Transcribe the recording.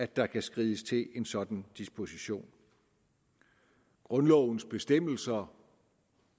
der kan skrides til en sådan disposition grundlovens bestemmelser